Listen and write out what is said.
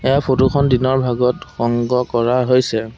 ইয়াৰ photo খন দিনৰ ভাগত সংগ্ৰহ কৰা হৈছে।